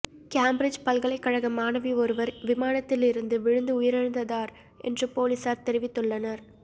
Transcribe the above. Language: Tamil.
கேம்பிரிட்ஜ் பல்கலைக்கழக மாணவி ஒருவர் விமானத்தில் இருந்து விழுந்து உயிரிழந்ததார் என்று பொலிஸார் தெரிவித்துள்ளனர்